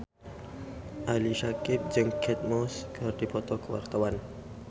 Ali Syakieb jeung Kate Moss keur dipoto ku wartawan